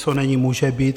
Co není, může být.